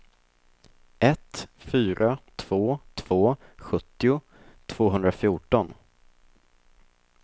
ett fyra två två sjuttio tvåhundrafjorton